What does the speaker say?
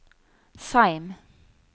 Seim